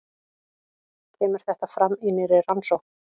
Kemur þetta fram í nýrri rannsókn